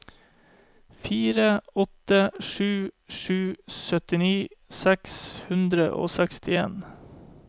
fire åtte sju sju syttini seks hundre og seksten